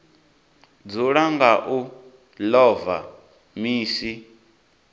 dzula nga u ḽova misi